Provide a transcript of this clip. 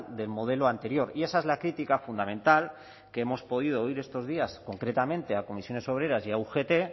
del modelo anterior y esa es la crítica fundamental que hemos podido oír estos días concretamente a comisiones obreras y a ugt